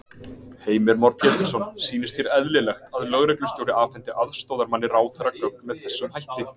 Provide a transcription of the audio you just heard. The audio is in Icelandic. Heimir Már Pétursson: Sýnist þér eðlilegt að lögreglustjóri afhendi aðstoðarmanni ráðherra gögn með þessum hætti?